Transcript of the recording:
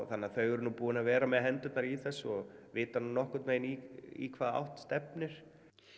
þannig að þau eru nú búin að vera með hendurnar í þessu og vita nokkurn veginn í hvaða átt stefnir